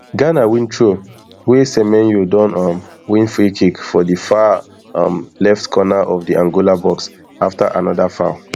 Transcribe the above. ghana win throw wey semenyo don um win freekick for di far um left corner of of di angola box afta anoda foul